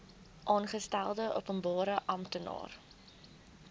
aangestelde openbare amptenaar